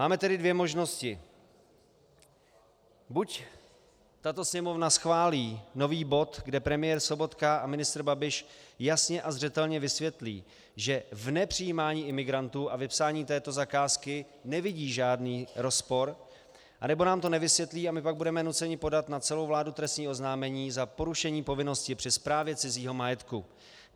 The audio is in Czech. Máme tedy dvě možnosti: buď tato Sněmovna schválí nový bod, kde premiér Sobotka a ministr Babiš jasně a zřetelně vysvětlí, že v nepřijímání imigrantů a vypsání této zakázky nevidí žádný rozpor, anebo nám to nevysvětlí a my pak budeme nuceni podat na celou vládu trestní oznámení za porušení povinnosti při správě cizího majetku.